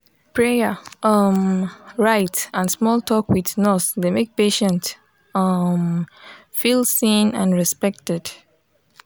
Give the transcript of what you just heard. prayer um rite and small talk with nurse dey make patient um feel seen and respected.